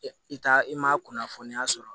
I t'a i ma kunnafoniya sɔrɔ